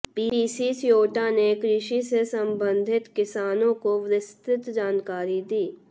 PC स्योटा ने कृषि से संबंधित किसानों को विस्तृत जानकारी दी